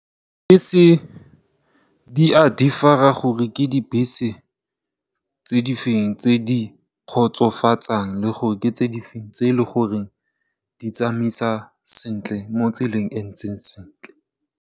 Dibese di a differ-a gore ke dibese tse di feng tse di kgotsofatsang, le gore ke tse di feng tse e leng gore di tsamaisa sentle mo tseleng e ntseng sentle.